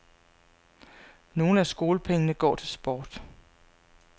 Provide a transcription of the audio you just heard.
Nogle af skolepengene går til sport.